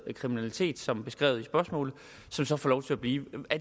kriminalitet som beskrevet i spørgsmålet som så får lov til at blive